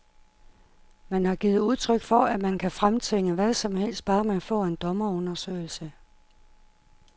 Man har givet udtryk for, at man kan fremtvinge hvad som helst, bare man får en dommerundersøgelse.